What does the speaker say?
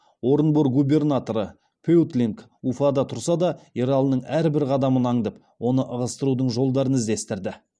орынбор губернаторы пеутлинг уфада тұрса да ералының әрбір қадамын аңдып оны ығыстырудың жолдарын іздестірді